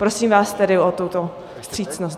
Prosím vás tedy o tuto vstřícnost.